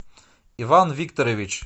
иван викторович